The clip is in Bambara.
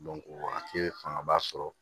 o wagati fangaba sɔrɔ